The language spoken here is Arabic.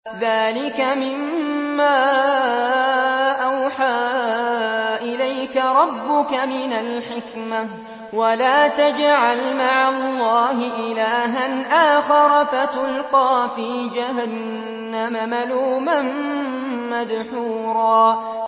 ذَٰلِكَ مِمَّا أَوْحَىٰ إِلَيْكَ رَبُّكَ مِنَ الْحِكْمَةِ ۗ وَلَا تَجْعَلْ مَعَ اللَّهِ إِلَٰهًا آخَرَ فَتُلْقَىٰ فِي جَهَنَّمَ مَلُومًا مَّدْحُورًا